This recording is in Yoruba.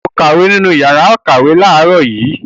O kàwé nínú ìyàrá-ìkàwé láàárọ̀ yìí?